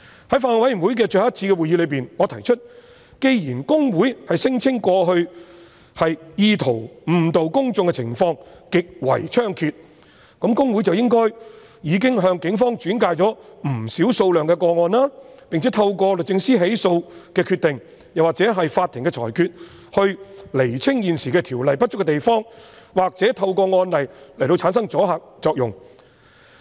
在法案委員會最後一次的會議上，我提出既然公會聲稱過去意圖誤導公眾的情況極為猖獗，那麼公會理應向警方轉介不少個案，並且透過律政司作出起訴的決定或取得法庭的裁決，以釐清現時《條例》不足的地方，或透過案例來產生阻嚇作用。